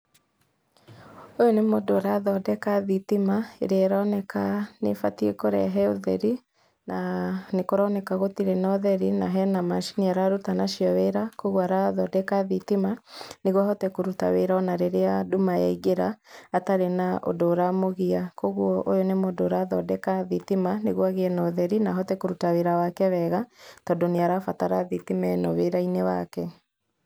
Ũyũ nĩ mũndũ ũrathondeka thitima ĩrĩa ĩroneka nĩ ĩbatĩe kũrehe ũtheri na nĩ kũroneka gũtĩrĩ na ũtheri, na hena macini araruta nacĩo wĩra kwa ũguo arathondeka thitima nĩgũo ahote kũruta wĩra ona rĩrĩa andũ maingĩra atarĩ na ũndũ ũramũgia kwa ũguo ũyũ nĩ mũndũ ũrathondeka thitima, nĩgũo agĩe na ũtheri na ahote kũruta wĩra wake wega tondũ nĩarabatara thitima ĩno wĩra-inĩ wake.